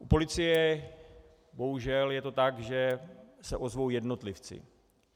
U policie bohužel je to tak, že se ozvou jednotlivci.